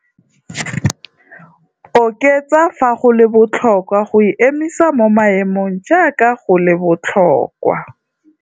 Oketsa fa go le botlhokwa go e emisa mo maemong jaaka go le botlhokwa.